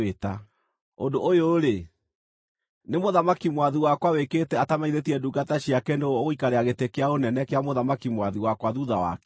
Ũndũ ũyũ-rĩ, nĩ mũthamaki mwathi wakwa wĩkĩte atamenyithĩtie ndungata ciake nũũ ũgũikarĩra gĩtĩ kĩa ũnene kĩa mũthamaki mwathi wakwa thuutha wake?”